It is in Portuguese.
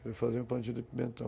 Quero fazer um plantio de pimentão.